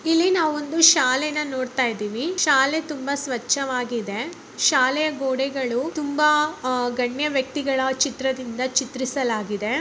ಇಲ್ಲಿ ನಾವೊಂದು ಶಾಲೆನಾ ನೋಡುತಾಯಿದಿವಿ ಶಾಲೆ ತುಂಬಾ ಸ್ವಚ್ಛವಾಗಿದೆ. ಶಾಲೆಯ ಗೋಡೆಗಳು ತುಂಬಾ ಆ ಗಣ್ಯ ವ್ಯಕ್ತಿಗಳ ಚಿತ್ರದಿಂದ ಚಿತ್ರಿಸಲಾಗಿದೆ.